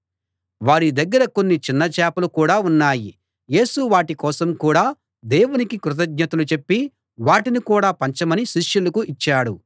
వారి దగ్గర కొన్ని చిన్న చేపలు కూడా ఉన్నాయి యేసు వాటి కోసం కూడా దేవునికి కృతజ్ఞతలు చెప్పి వాటిని కూడా పంచమని శిష్యులకు ఇచ్చాడు